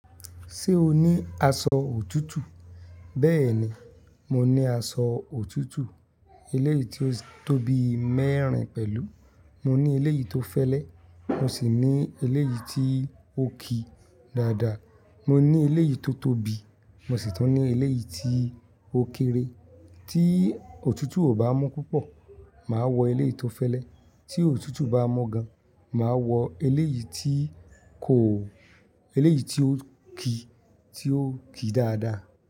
Ṣé o ní aṣọ òtútù? Bẹ́ẹ̀ ni, mo ní aṣọ òtútù. Eléyìí tí ó tóbi mẹ́rin pẹ̀lú. Mo ní eléyìí tó fẹ́lẹ́, mo sì ní eléyìí tí ó ki dáadáa. Mo ní eléyìí tó tóbi, mo sì tún ní eléyìí tí ó kéré. Tí òtútù ò bá mú púpọ̀, màá wọ eléyìí tó fẹ́lẹ́, tí òtútù bá mú gan, màá wọ eléyìí tí kò eléyìí tí ó ki tí ó ki dáadáa.